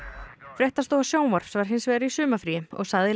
fréttastofa sjónvarps var hins vegar í sumarfríi og sagði